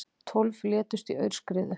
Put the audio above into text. Tólf létust í aurskriðu